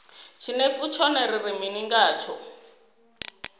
tshinefu tshone ri ri mini ngatsho